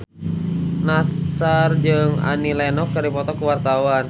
Nassar jeung Annie Lenox keur dipoto ku wartawan